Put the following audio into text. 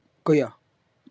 Gauja